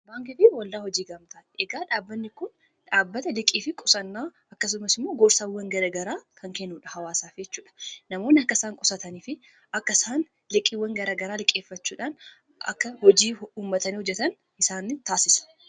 baankifi waldaa hojii gaamta egaa dhaabbanni kun dhaabbata liqii fi qusannaa akkasumas immoo goorsaawwan garagaraa kan kennuudha hawaasaaf jechuudha namoonni akka isaan qusatanii fi akka isaan liqqiiwwan garagaraa liqqeeffachuudhaan akka hojii ummatanii hojjetan isaan taasisa.